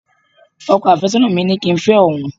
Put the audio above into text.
ọkọ afesona mi ni ki n fẹ oun